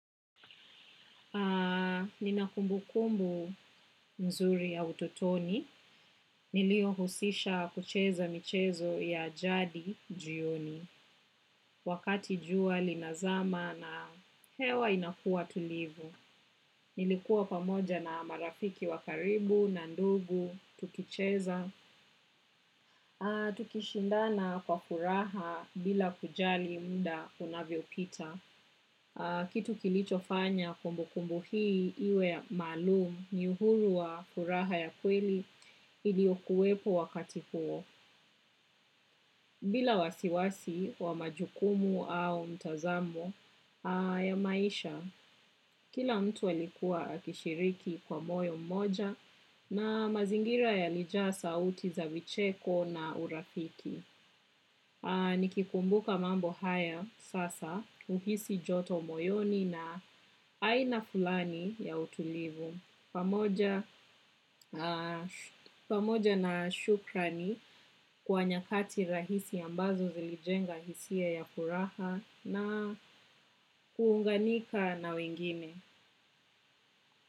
Nina kumbukumbu mzuri ya ututoni. Niliyohusisha kucheza michezo ya jadi jioni. Wakati jua linazama na hewa inakuwa tulivu. Nilikuwa pamoja na marafiki wa karibu na ndugu. Tukicheza, tukishindana kwa furaha bila kujali muda unavyopita. Kitu kilichofanya kumbukumbu hii iwe maalumu ni uhuru wa furaha ya kweli iliyokuwepo wakati huo. Bila wasiwasi wa majukumu au mtazamo ya maisha, kila mtu alikuwa akishiriki kwa moyo mmoja na mazingira yalijaa sauti za vicheko na urafiki. Nikikumbuka mambo haya sasa huhisi joto moyoni na aina fulani ya utulivu. Pamoja na shukra ni kwa nyakati rahisi ambazo zilijenga hisia ya furaha na kuunganika na wengine.